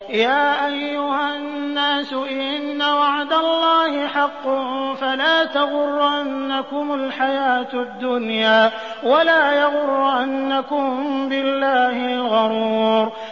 يَا أَيُّهَا النَّاسُ إِنَّ وَعْدَ اللَّهِ حَقٌّ ۖ فَلَا تَغُرَّنَّكُمُ الْحَيَاةُ الدُّنْيَا ۖ وَلَا يَغُرَّنَّكُم بِاللَّهِ الْغَرُورُ